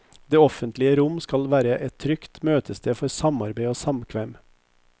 Det offentlige rom skal være et trygt møtested for samarbeid og samkvem.